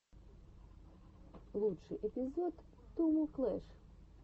лучший эпизод туму клэш